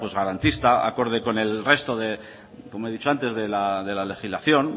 garantista acorde con el resto de como he dicho antes de la legislación